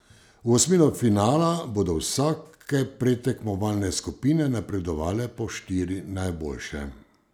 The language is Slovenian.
V osmino finala bodo vsake predtekmovalne skupine napredovale po štiri najboljše.